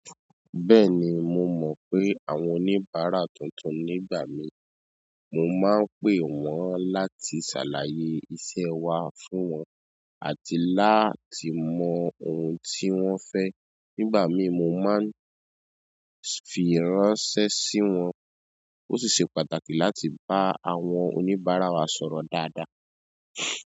Bẹ́ẹ̀ni, mo mọ̀ pé àwọn oníbàárà tuntun nígbà míì. Mo máa ń pè wọ́n láti ṣàlàyé iṣẹ́ ẹ wa fún wọn àti láti mọ ohun tí wọ́n fẹ́. Nígbà míì mo máa ń fi ránṣẹ́ sí wọn. Ó sì ṣe pàtàkì láti bá àwọn oníbàárà wa sọ̀rọ̀ dáadáa.